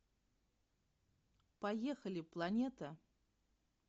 поехали планета